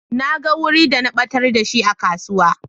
Na gan wuri da na batar da shi a kasuwa.